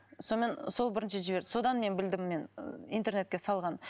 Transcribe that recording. сонымен сол бірінші жіберді содан мен білдім мен интернетке салғанын